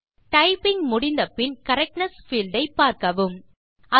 typing முடிந்த பின் correctness field ஐ பார்க்கலாம்